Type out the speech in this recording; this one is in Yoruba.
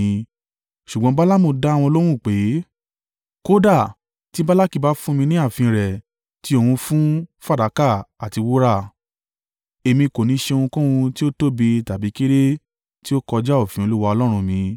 Ṣùgbọ́n Balaamu dá wọn lóhùn pé, “Kódà tí Balaki bá fún mi ní ààfin rẹ̀ tí ó kún fún fàdákà àti wúrà, èmi kò ní ṣe ohunkóhun tí ó tóbi tàbí kéré tí ó kọjá òfin Olúwa Ọlọ́run mi.